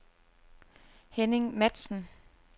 Henning Matzen